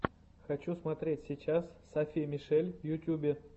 хочу смотреть сейчас софи мишель в ютубе